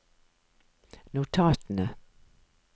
notatene